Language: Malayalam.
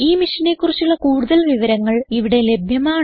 ഈ മിഷനെ കുറിച്ചുള്ള കുടുതൽ വിവരങ്ങൾ ഇവിടെ ലഭ്യമാണ്